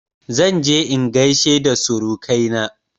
Zan je in gaishe da surukaina